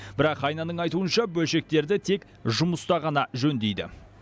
бірақ айнаның айтуынша бөлшектерді тек жұмыста ғана жөндейді